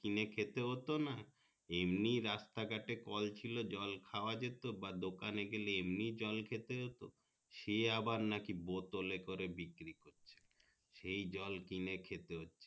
কিনে খেতে হতো না এমনি রাস্তা ঘটে কল ছিল জল খোয়া যেত বা দোকানে গেলে এমনি জল খেতে হতো সে আবার নাকি বোতলে করে বিক্রি করছে সেই জল কিনে খেতে হচ্ছে